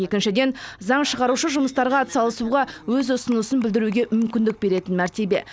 екіншіден заң шығарушы жұмыстарға атсалысуға өз ұсынысын білдіруге мүмкіндік беретін мәртебе